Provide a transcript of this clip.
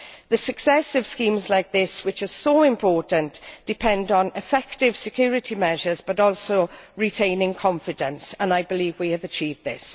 The success of schemes like this, which are so important, depends on effective security measures but also on retaining confidence, and I believe we have achieved this.